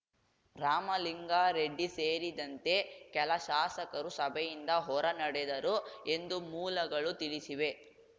ರಾಮಲಿಂಗಾರೆಡ್ಡಿ ಸೇರಿದಂತೆ ಕೆಲ ಶಾಸಕರು ಸಭೆಯಿಂದ ಹೊರ ನಡೆದರು ಎಂದು ಮೂಲಗಳು ತಿಳಿಸಿವೆ